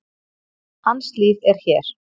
Hans líf er hér.